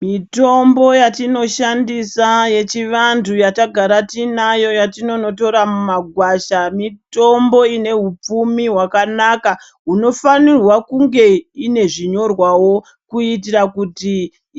Mitombo yatinoshandisa yechivantu yatakakagara tinayo yatitototora mumagwasha. Mitombo inehupfumi hwakanaka hunofanirwa kunge ine zvinyorwavo. Kuitira kuti